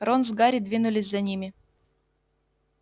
рон с гарри двинулись за ними